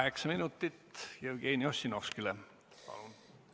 Kaheksa minutit Jevgeni Ossinovskile palun!